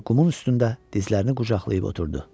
Və qumun üstündə dizlərini qucaqlayıb oturdu.